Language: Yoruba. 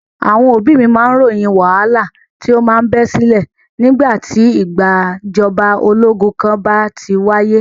Àwọn òbí mí ròyìn wàhálà tí o máa ń bẹ sílẹ̀ nígbà tí ìgbàjọba ológun kan bá ti wáyé.